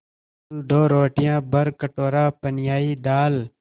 कुल दो रोटियाँ भरकटोरा पनियाई दाल